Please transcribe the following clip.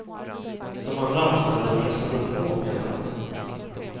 De andra anställda pressade på, menar han.